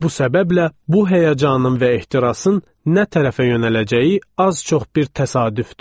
Bu səbəblə bu həyəcanın və ehtirasın nə tərəfə yönələcəyi az-çox bir təsadüfdür.